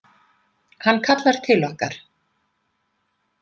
Hann kallar til okkar.